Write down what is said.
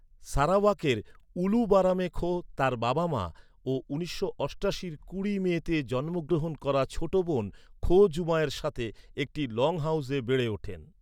সারাওয়াকের উলু বারামে খো তাঁর বাবা মা ও উনিশশো অষ্টাশির কুড়ি মেতে জন্মগ্রহণ করা ছোট বোন খো জুমাইয়ের সাথে একটি লংহাউসে বেড়ে ওঠেন।